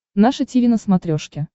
наше тиви на смотрешке